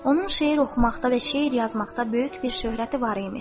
Onun şeir oxumaqda və şeir yazmaqda böyük bir şöhrəti var imiş.